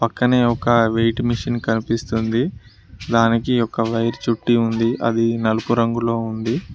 పక్కనే ఒక weight machine కనిపిస్తుంది దానికి ఒక వైర్ చుట్టి ఉంది అది నలుపు రంగులో ఉండి.